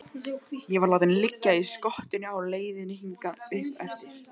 Ég var látinn liggja í skottinu á leiðinni hingað uppeftir.